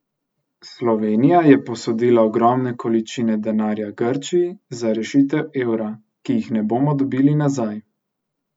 Slovenija je posodila ogromne količine denarja Grčiji za rešitev evra, ki jih ne bomo dobili nazaj.